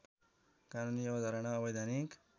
कानूनी अवधारणा अवैधानिक